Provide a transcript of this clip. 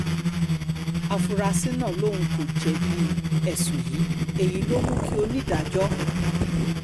áfúrásì náà lòun kò jẹ̀bi ẹ̀sùn yìí èyí ló mú kí onídàájọ́ h